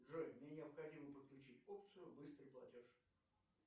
джой мне необходимо подключить опцию быстрый платеж